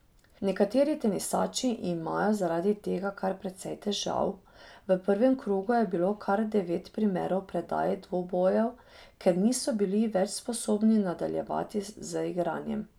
Nekateri tenisači imajo zaradi tega kar precej težav, v prvem krogu je bilo kar devet primerov predaj dvobojev, ker niso bili več sposobni nadaljevati z igranjem.